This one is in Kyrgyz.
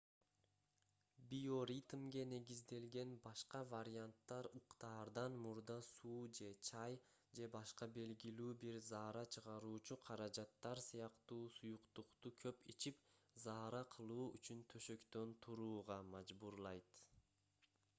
биоритмге негизделген башка варианттар уктаардан мурда суу же чай же башка белгилүү бир заара чыгаруучу каражаттар сыяктуу суюктукту көп ичип заара кылуу үчүн төшөктөн турууга мажбурлайт